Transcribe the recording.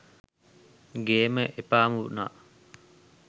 ගේම එපාම උනා